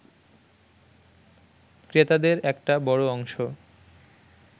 ক্রেতাদের একটা বড় অংশ